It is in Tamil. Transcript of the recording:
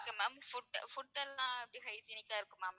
okay ma'am food food எல்லாம் எப்படி hygienic க்கா இருக்குமா ma'am